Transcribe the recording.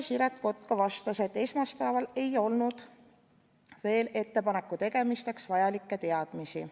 Siret Kotka vastas, et esmaspäeval ei olnud veel ettepaneku tegemiseks vajalikke teadmisi.